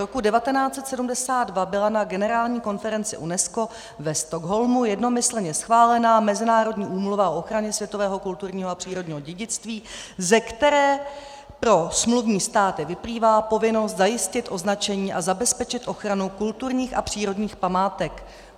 Roku 1972 byla na generální konferenci UNESCO ve Stockholmu jednomyslně schválena Mezinárodní úmluva o ochraně světového kulturního a přírodního dědictví, ze které pro smluvní státy vyplývá povinnost zajistit označení a zabezpečit ochranu kulturních a přírodních památek.